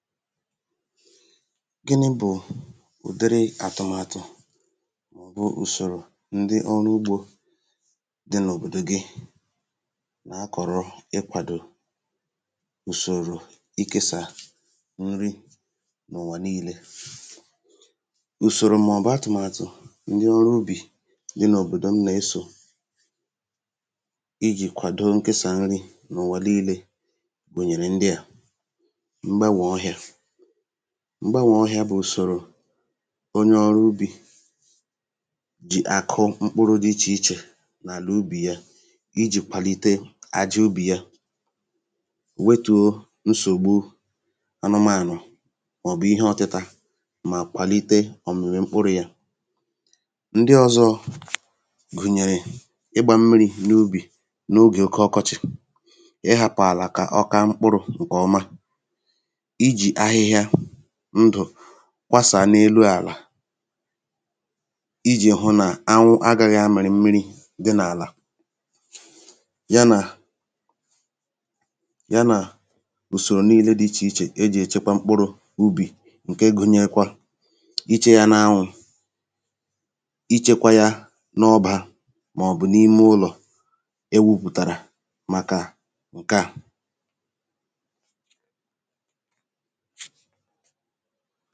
gini̇ bụ̀ ùdiri àtụ̀màtụ̀ bụ ùsòrò ndi ọrụ ugbȯ di n’òbòdò gi na-akọ̀rọ ịkwàdò ùsòrò ịkėsà nri na ùwà nii̇lė ùsòrò màọ̀bụ̀ atụ̀màtụ̀ ndi ọrụ ubì di n’òbòdò m na-esò ijì kwàdo nkėsà nri nà ùwà nii̇lė gbùnyèrè ndia m̀gbànwè ọhịa bụ̀ ùsòrò onye ọrụ ubì jì àkụ mkpụrụ̇ dị ichè ichè n’àlà ubì ya ijì kwàlite àjị ubì ya wetùȯ nsògbu anụmànụ̀ mọ̀bụ̀ ihe ọtị̀tà mà kwàlite ọ̀mìrì mkpụrụ̇ yȧ ndị ọ̇zọ̇ gụ̀nyèrè ịgbȧ mmiri̇ n’ubì n’ogè oke ọkọchị̀ ị hàpụ̀ àlà kà ọ ka mkpụrụ̇ ǹkè ọma kwasà n’elu àlà ijì hụ nà anwụ agaghị̇ amịrị̇ mmiri̇ dị n’àlà ya nà ya nà usòrò niilė dị ichè ichè ejì echekwa mkpụrụ̇ ubì ǹkè gụ̀nyekwa ichė ya n’anwụ̇ ichekwa yȧ n’ọbȧ màọ̀bụ̀ n’ime ụlọ̀ e wupụ̀tàrà màkà ǹke à ha